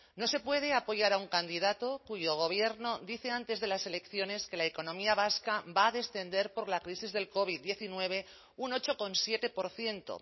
no se puede apoyar a un candidato cuyo gobierno dice antes de las elecciones que la economía vasca va a descender por la crisis del covid diecinueve un ocho coma siete por ciento